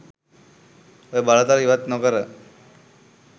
ඔය බලතල ඉවත් නොකර